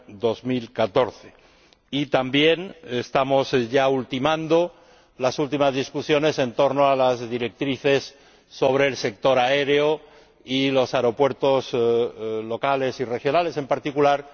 2014. También estamos ya ultimando las últimas discusiones en torno a las directrices sobre el sector aéreo y los aeropuertos locales y regionales, en particular.